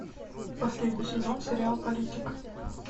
последний сезон сериал политик